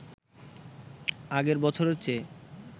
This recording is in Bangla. আগের বছরের চেয়ে